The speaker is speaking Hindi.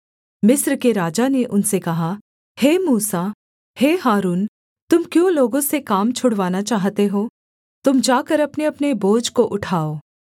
मिस्र के राजा ने उनसे कहा हे मूसा हे हारून तुम क्यों लोगों से काम छुड़वाना चाहते हो तुम जाकर अपनेअपने बोझ को उठाओ